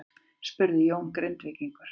spurði Jón Grindvíkingur.